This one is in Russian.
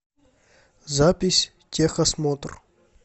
запись техосмотр